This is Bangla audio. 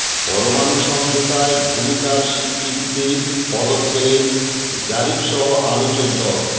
পরমাণু সমঝোতায় ভূমিকার স্বীকৃতিতে পদক পেলেন জারিফসহ আলোচক দল